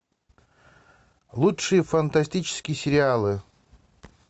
лучшие фантастические сериалы